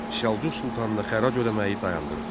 Səlcuq sultanına xərac ödəməyi dayandırdı.